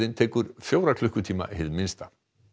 tekur fjóra klukkutíma hið minnsta